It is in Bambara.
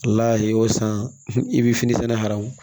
Ala y'o san i bɛ fini sɛnɛ hamu